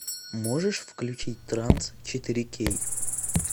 можешь включить транс четыре кей